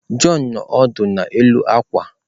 John nọ ọdụ n'elu akwa.